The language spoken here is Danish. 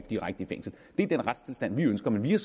direkte i fængsel det er den retstilstand vi ønsker men vi har